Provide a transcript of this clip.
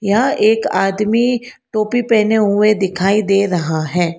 यह एक आदमी टोपी पहने हुए दिखाई दे रहा है।